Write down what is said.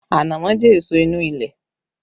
Ànámọ́ jẹ èso inú ilẹ̀